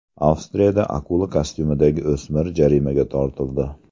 Avstriyada akula kostyumidagi o‘smir jarimaga tortildi.